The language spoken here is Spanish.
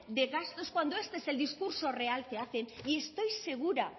de gastos cuando este es el discurso real que hacen y estoy segura